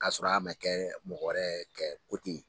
K'a sɔrɔ a mɛn kɛ mɔgɔ wɛrɛ kɛ ye.